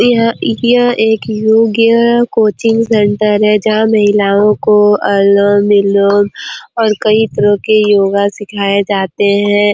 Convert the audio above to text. यह एक योग्य कोचिंग सेंटर है जहा महिलाओ को आलम विलोम और कई तरह के योगा सिखाये जाते है ।